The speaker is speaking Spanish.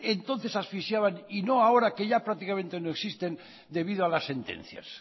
entonces asfixiaban y no ahora que ya prácticamente no existen debido a las sentencias